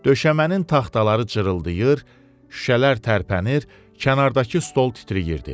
Döşəmənin taxtaları cırıldayır, şüşələr tərpənir, kənardakı stol titrəyirdi.